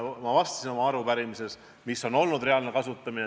Ma vastasin oma arupärimises, milline see reaalne kasutamine on olnud.